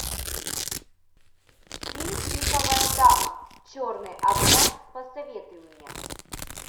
фильм пиковая дама черный обряд посоветуй мне